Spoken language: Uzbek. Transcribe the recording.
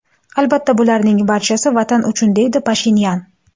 Albatta, bularning barchasi ‘vatan uchun’”, deydi Pashinyan.